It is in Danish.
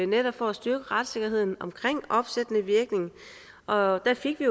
netop for at styrke retssikkerheden omkring opsættende virkning og der fik vi